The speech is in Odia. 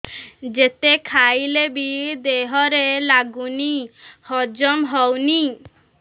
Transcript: ଯେତେ ଖାଇଲେ ବି ଦେହରେ ଲାଗୁନି ହଜମ ହଉନି